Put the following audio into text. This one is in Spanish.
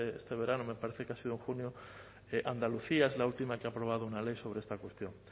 este verano me parece que ha sido en junio andalucía es la última que ha aprobado una ley sobre esta cuestión